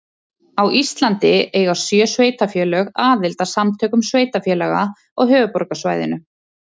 Á Íslandi eiga sjö sveitarfélög aðild að Samtökum sveitarfélaga á höfuðborgarsvæðinu.